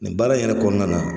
Nin baara in yɛrɛ kɔɔna na